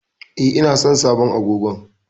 E, ina son sabon agogon.